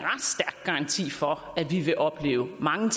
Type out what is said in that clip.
garanti for at vi vil opleve mange